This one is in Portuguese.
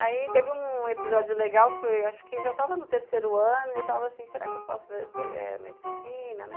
Aí teve um episódio legal, acho que já estava no terceiro ano, e eu estava assim, será que eu faço medicina, né.